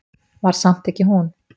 Var samt ekki hún.